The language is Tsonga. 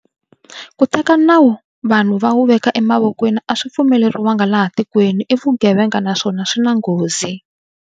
Ku teka nawu vanhu va wu veka emavokweni a swi pfumeleriwi laha tikweni. I vugevenga naswona swi na nghozi.